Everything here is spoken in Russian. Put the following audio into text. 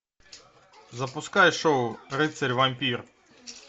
запускай шоу рыцарь вампир